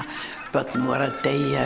börn að deyja